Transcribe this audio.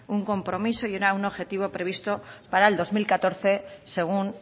un compromiso y era un objetivo previsto para el dos mil catorce según